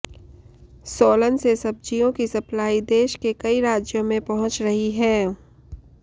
सोलन से सब्जियों की सप्लाई देश के कई राज्यों में पहुंच रही है